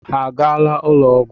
Ha agaala ụlọọgwụ?